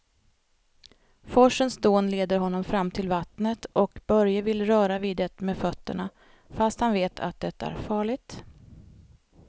Forsens dån leder honom fram till vattnet och Börje vill röra vid det med fötterna, fast han vet att det är farligt.